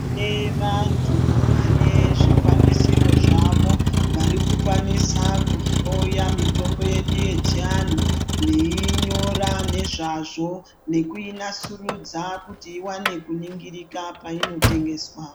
Tine vantu vane zvikwanisiro zvavo vari kukwanisa kuhloya mitombo yedu yechivantu, veiinyora nezvazvo nekuinasurudza kuti iwane kuningirika painotengeswa.